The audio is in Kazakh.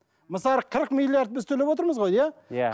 мысалы қырық миллиард біз төлеп отырмыз ғой иә иә